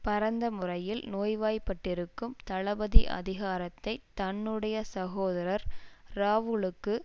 பரந்த முறையில் நோய்வாய்ப்பட்டிருக்கும் தளபதி அதிகாரத்தை தன்னுடைய சகோதரர் ராவுலுக்கு